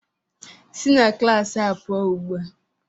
Si na klas a pụọ ugbu a!